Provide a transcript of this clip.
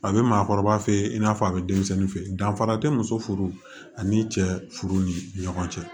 A bɛ maakɔrɔba fe yen i n'a fɔ a be denmisɛnnin fe yen danfara te muso furu ani cɛ furu ni ɲɔgɔn cɛ